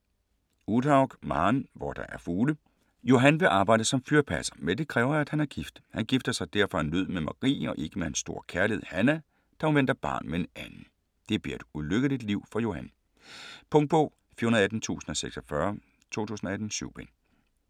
Uthaug, Maren: Hvor der er fugle Johan vil arbejde som fyrpasser, men det kræver at han er gift. Han gifter sig derfor af nød med Marie og ikke med hans store kærlighed, Hannah, da hun venter barn med en anden. Det bliver et ulykkeligt liv for Johan. Punktbog 418046 2018. 7 bind.